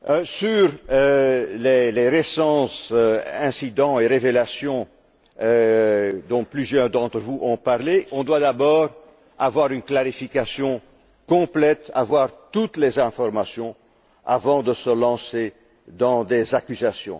Sur les récents incidents et révélations, dont plusieurs d'entre vous ont parlé, on doit d'abord avoir une clarification complète, avoir toutes les informations avant de se lancer dans des accusations.